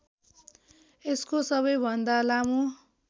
यसको सबैभन्दा लामो